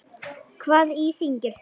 Hvað íþyngir þér?